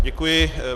Děkuji.